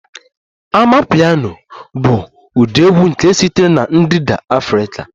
Amapiano bụ ụdị egwu nke sitere na ndịda Afrika